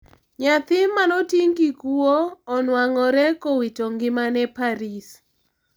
Nyathi manoting' kikuwo onwang'ore kowito ngimane Paris.